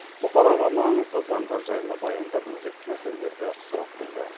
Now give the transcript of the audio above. бұқараға маңызды заңдар жайлы баяндап өзекті мәселелерді сұрап білді